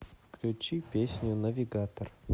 включи песню навигатор